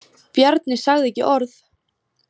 Bjarni sagði ekki orð.